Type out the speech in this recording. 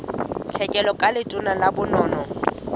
tlhekelo ka letona la bonono